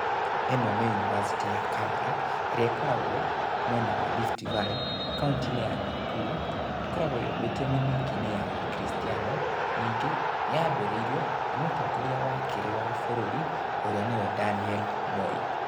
Ĩno nĩ yunibacĩti ya Kabarak, ĩrĩa ĩkoragwo mwena wa Rift Valley, kauntĩ-inĩ ya Nakuru, ĩkoragwo yũmbĩte mĩthing-inĩ ya gĩkiricitiano, ningĩ yambĩrĩirio nĩ mũtongoria wa kerĩ wa bũrũri, ũrĩa nĩwe Daniel Moi.